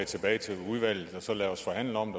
tilbage til udvalget og lade os forhandle om